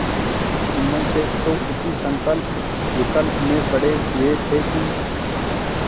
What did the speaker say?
जुम्मन शेख तो इसी संकल्पविकल्प में पड़े हुए थे कि